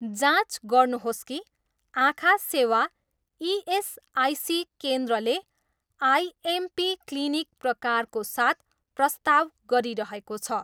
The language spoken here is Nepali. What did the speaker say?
जाँच गर्नुहोस् कि आँखा सेवा इएसआइसी केन्द्रले आइएमपी क्लिनिक प्रकारको साथ प्रस्ताव गरिरहेको छ।